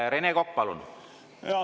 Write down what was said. Rene Kokk, palun!